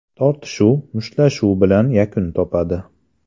Tortishuv mushtlashuv bilan yakun topadi.